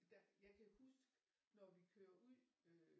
Jeg kan huske når vi kører ud øh